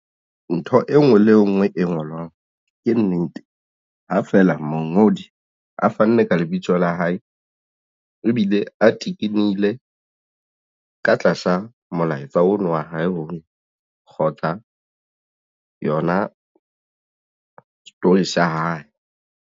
Ntho e nngwe le nngwe e ngolwang ke nnete ha feela mongodi a fanne ka lebitso la hae ebile a tikilehile ka tlasa molaetsa ono wa hae o kgotsa yona story sa hae.